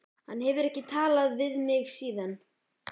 Hann hefur ekki talað við mig síðan.